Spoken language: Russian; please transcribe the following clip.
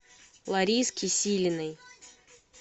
лариски силиной